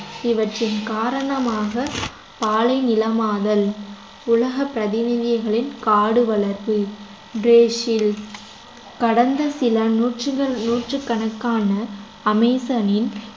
இவற்றின் காரணமாக பாலை நிலமாதல் உலக பிரதிநிதிகளின் காடு வளர்ப்பு பிரேசில் கடந்த சில நூற்றுகள்~ நூற்றுக்கணக்கான அமேசானின்